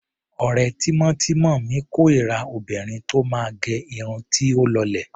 Ọ̀rẹ́ tímọ́tímọ́ mi kórira obìnrin tó máa gẹ irun tí ó lọlẹ̀.